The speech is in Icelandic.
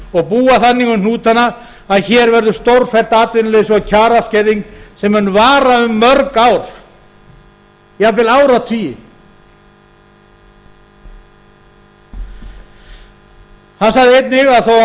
og búa þannig um hnútana að hér verður stórfellt atvinnuleysi og kjaraskerðing sem mun vara um mörg ár jafnvel áratugi hann sagði einnig að þó